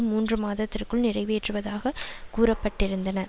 மூன்று மாததிற்க்குள் நிறைவேற்றுவதாக கூறப்பட்டிருந்தன